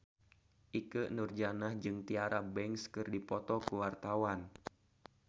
Ikke Nurjanah jeung Tyra Banks keur dipoto ku wartawan